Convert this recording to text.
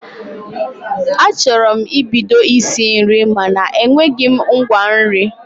Achọrọ m ibido isi nri mana enweghị m ngwa nri